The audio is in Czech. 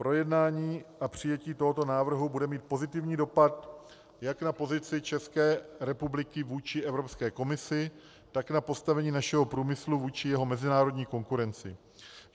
Projednání a přijetí tohoto návrhu bude mít pozitivní dopad jak na pozici České republiky vůči Evropské komisi, tak na postavení našeho průmyslu vůči jeho mezinárodní konkurenci.